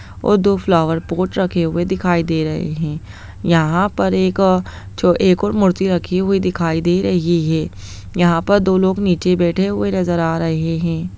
और दो flower pot रखे हुए दिखाई दे रहे हैं यहां पर एक और मूर्तियां रखी हुई दिखाई दे रही है यहां पर दो लोग नीचे बैठे हुए नजर आ रहे हैं।